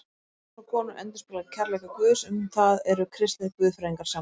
Ást manns og konu endurspeglar kærleika Guðs, um það eru kristnir guðfræðingar sammála.